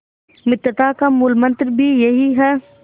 मित्रता का मूलमंत्र भी यही है